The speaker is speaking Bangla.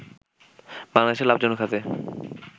বাংলাদেশের লাভজনক খাতে